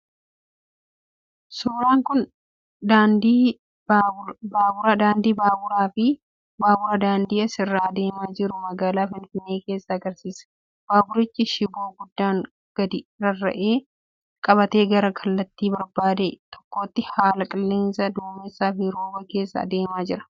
Suuraan kun daandii baabulaa fi baabura daandii isaarra adeemaa jiru magaalaa Finfinnee keessaa agarsiisa. Baaburichi shiboo gubbaan gadi rarra'u qabatee gara kallattii barbaadee tokkotti haala qilleensaa dumessaa fi rooba keessa adeemaa jira.